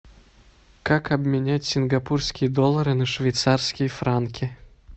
как обменять сингапурские доллары на швейцарские франки